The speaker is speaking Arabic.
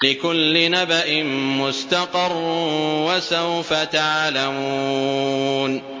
لِّكُلِّ نَبَإٍ مُّسْتَقَرٌّ ۚ وَسَوْفَ تَعْلَمُونَ